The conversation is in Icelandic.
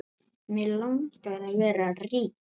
Mig langar að vera rík.